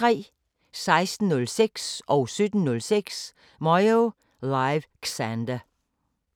16:06: Moyo Live: Xander 17:06: Moyo Live: Xander